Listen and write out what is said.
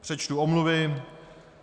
Přečtu omluvy.